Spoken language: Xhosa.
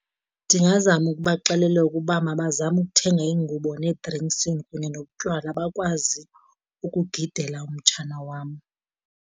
Ndingazama ukubaxelela ukuba mabazame ukuthenga iingubo nee-drinks kunye nobutywala, bakwazi ukugidela umtshana wam.